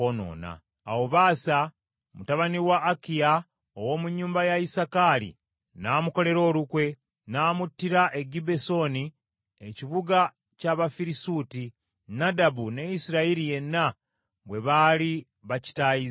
Awo Baasa mutabani wa Akiya ow’omu nnyumba ya Isakaali n’amukolera olukwe, n’amuttira e Gibbesoni ekibuga ky’Abafirisuuti, Nadabu ne Isirayiri yenna bwe baali bakitaayizza.